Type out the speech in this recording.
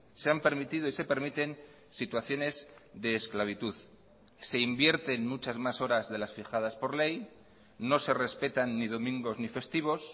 se han permitido y se permiten situaciones de esclavitud se invierten muchas más horas de las fijadas por ley no se respetan ni domingos ni festivos